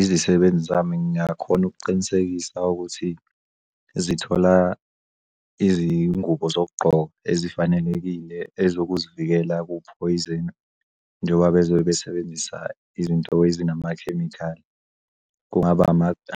Izisebenzi zami ngiyakhona ukuqinisekisa ukuthi zithola izingubo zokugqoka ezifanelekile ezokuzivikela kuphoyizeni njoba bezobe besebenzisa izinto ezinamakhemikhali. Kungaba